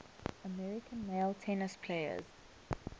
american male tennis players